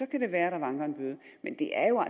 kan det være at der vanker en bøde men det er jo